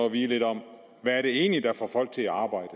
at vide lidt om hvad det egentlig er der får folk til at arbejde